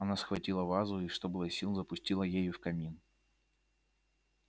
она схватила вазу и что было сил запустила ею в камин